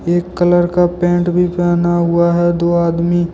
एक कलर का पैंट भी पहना हुआ है दो आदमी।